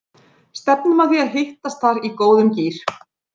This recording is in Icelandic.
Stefnum að því að hittast þar í góðum gír!